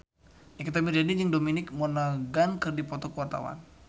Nikita Mirzani jeung Dominic Monaghan keur dipoto ku wartawan